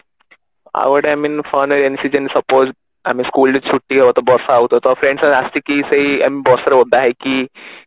ଆଉ ଗୋଟେ I mean rainy season suppose ଆମେ school ଛୁଟି ହବ ତ ବର୍ଷା ହଉଥିବା ତ friends ମାନେ ଆସିକି ସେଇ ବର୍ଷା ରେ ଓଦା ହେଇକି